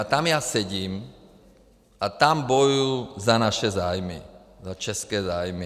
A tam já sedím a tam bojuji za naše zájmy, za české zájmy.